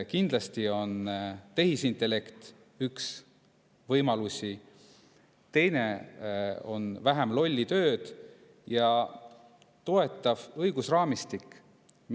Kindlasti on tehisintellekt üks võimalus ning teine on vähendada lolli tööd ja toetav õigusraamistik.